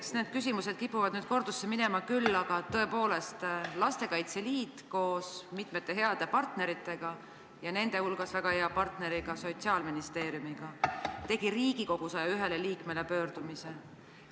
Eks need küsimused kipuvad nüüd kordusesse minema küll, aga tõepoolest, Lastekaitse Liit koos mitme hea partneriga ja nende hulgas väga hea partneri Sotsiaalministeeriumiga tegi Riigikogu 101 liikmele pöördumise.